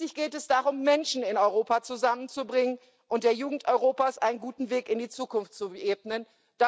Schließlich geht es darum, Menschen in Europa zusammenzubringen und der Jugend Europas einen guten Weg in die Zukunft zu ebnen.